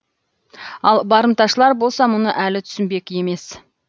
ал барымташылар болса мұны әлі түсінбек емес